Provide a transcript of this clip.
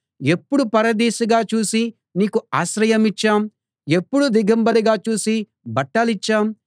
ఎప్పుడు పరదేశిగా చూసి నీకు ఆశ్రయమిచ్చాం ఎప్పుడు దిగంబరిగా చూసి బట్టలిచ్చాం